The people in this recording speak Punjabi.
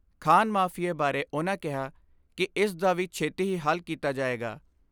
ਖਾਨ ਮਾਫੀਏ ਬਾਰੇ ਉਨ੍ਹਾਂ ਕਿਹਾ ਕਿ ਇਸ ਦਾ ਵੀ ਛੇਤੀ ਹੀ ਹੱਲ ਕੀਤਾ ਜਾਏਗਾ।